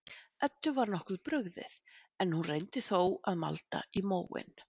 Eddu var nokkuð brugðið, en hún reyndi þó að malda í móinn.